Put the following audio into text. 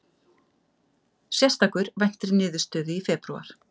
Sérstakur væntir niðurstöðu í febrúar